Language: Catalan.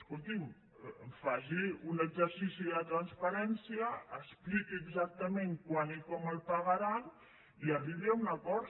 escolti’m faci un exercici de transparència expliqui exactament quan i com el pagaran i arribi a un acord